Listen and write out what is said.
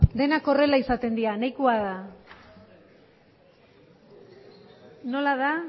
denak horrela izaten dira nahikoa da nola da